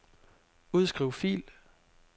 Udskriv fil.